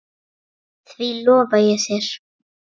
Því lofa ég þér